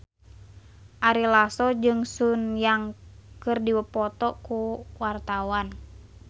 Ari Lasso jeung Sun Yang keur dipoto ku wartawan